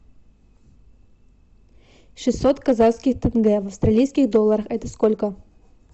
шестьсот казахских тенге в австралийских долларах это сколько